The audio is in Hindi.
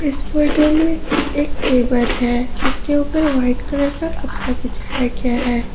इस फोटो में एक टेबल है जिसके ऊपर व्हाइट कलर का कपड़ा बिछाया गया है।